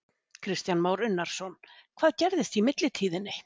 Kristján Már Unnarsson: Hvað gerðist í millitíðinni?